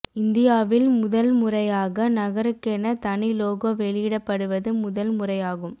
இந்தியாவில் முதல் முறையாக நகருகென தனி லோகோ வெளியிடப்படுவது முதல் முறையாகும்